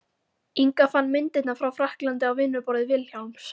Inga fann myndirnar frá frakklandi á vinnuborði Vilhjálms.